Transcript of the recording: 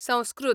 Sanskrit